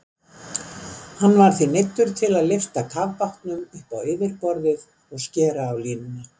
Hann var því neyddur til að lyfta kafbátnum upp á yfirborðið og skera á línuna.